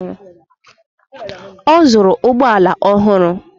Ọ zụrụ ụgbọala ọhụrụ